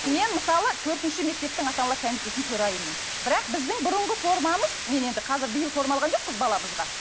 мен мысалы төртінші мектептің ата аналар комитетінің төрайымымын бірақ біздің бұрынғы формамыз мен енді қазір биыл форма алған жоқпыз баламызға